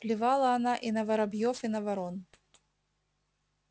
плевала она и на воробьёв и на ворон